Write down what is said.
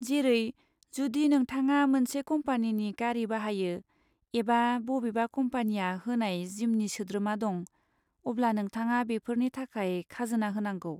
जेरै, जुदि नोंथाङा मोनसे कम्पानिनि गारि बाहायो एबा बबेबा कम्पानीया होनाय जिमनि सोद्रोमा दं, अब्ला नोंथाङा बेफोरनि थाखाय खाजोना होनांगौ।